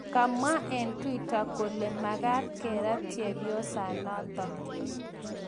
Kamwa eng twitter kole magaat kerat chepyosanatak